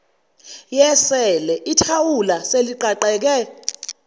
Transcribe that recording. yesele ithawula seliqaqeke